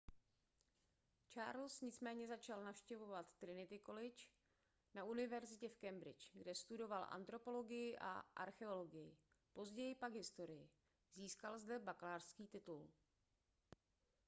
charles nicméně začal navštěvovat trinity college na univerzitě v cambridge kde studoval antropologii a archeologii později pak historii získal zde bakalářský titul